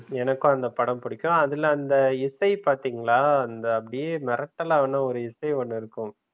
எனக்கு அந்த படம் பிடிக்கும். அதுல, அந்த இசை பாத்தீங்களா? அந்த அப்படியே மெரட்டலான ஒரு இசை ஒன்னு இருக்கும்.